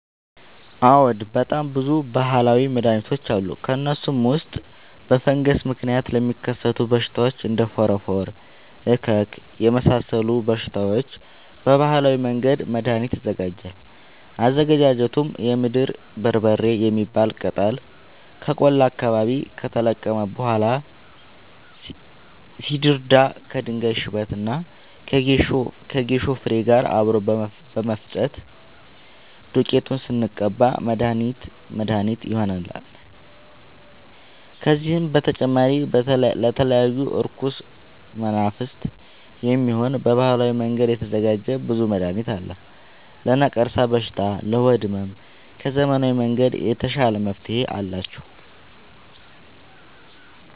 አዎድ በጣም ብዙ በሀላዊ መድሀኒቶች አሉ ከእነሱም ውስጥ በፈንገስ ምክንያት ለሚከሰቱ በሽታዎች እንደ ፎረፎር እከክ የመሳሰሉ በሽታዎች በባህላዊ መንገድ መድሀኒት ይዘጋጃል አዘገጃጀቱም የምድር በርበሬ የሚባል ቅጠል ከቆላ አካባቢ ከተለቀመ በኋላ ሲደርዳ ከድንጋይ ሽበት እና ከጌሾ ፋሬ ጋር አብሮ በመፈጨት ዱቄቱን ስንቀባ መድሀኒት መድሀኒት ይሆነናል። ከዚህም በተጨማሪ ለተለያዩ እርኩስ መናፍት፣ የሚሆን በባህላዊ መንገድ የተዘጋጀ ብዙ መድሀኒት አለ። ለነቀርሻ በሽታ ለሆድ ህመም ከዘመናዊ መንገድ የተሻለ መፍትሄ አላቸው።